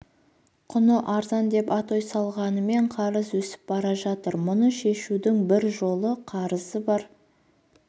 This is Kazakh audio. құны арзан деп атой салғанмен қарыз өсіп бара жатыр мұны шешудің бір жолы қарызы бар